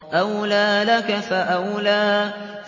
أَوْلَىٰ لَكَ فَأَوْلَىٰ